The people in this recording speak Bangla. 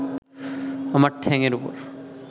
আমার ঠ্যাংএর ওপর